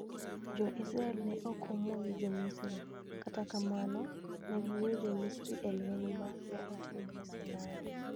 Jo-Israel ne ok omonjo Jo-Misri, kata kamano, ne giweyo Jo-Misri e lweny ma ne otimore Sinai.